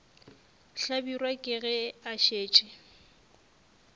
hlabirwa ke ge a šetše